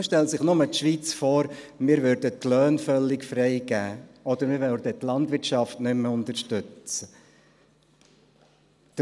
Man stelle sich nur die Schweiz vor, wenn wir die Löhne völlig freigeben oder die Landwirtschaft nicht mehr unterstützen würden.